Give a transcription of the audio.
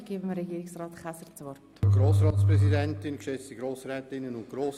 Aus diesen Gründen nehme ich alle Punkte an.